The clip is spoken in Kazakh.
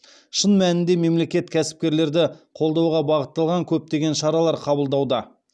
шын мәнінде мемлекет кәсіпкерлерді қолдауға бағытталған көптеген шаралар қабылдауда